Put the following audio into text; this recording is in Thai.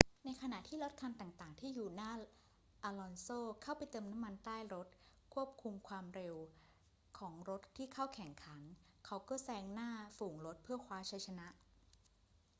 ในขณะที่รถคันต่าง ๆ ที่อยู่หน้าอลอนโซเข้าไปเติมน้ำมันใต้รถควบคุมความเร็วของรถที่เข้าแข่งขัน เขาก็แซงหน้าฝูงรถเพื่อคว้าชัยชนะ